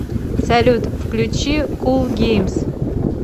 салют включи кул геймс